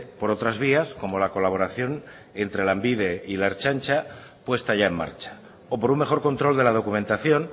por otras vías como la colaboración entre lanbide y la ertzaintza puesta ya en marcha o por un mejor control de la documentación